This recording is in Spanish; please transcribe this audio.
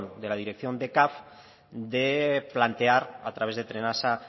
de la dirección de caf de plantear a través de trenasa